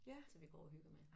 Som vi går og hygger med